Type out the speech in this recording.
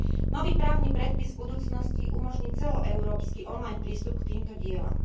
Nový právny predpis v budúcnosti umožní celoeurópsky online prístup k týmto dielam.